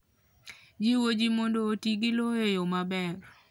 Jiwo ji mondo oti gi lowo e yo maber.